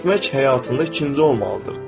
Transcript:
Etmək həyatında ikinci olmalıdır.